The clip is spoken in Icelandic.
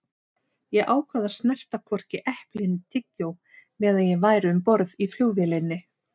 Ég ákvað að snerta hvorki epli né tyggjó meðan ég væri um borð í flugvélinni.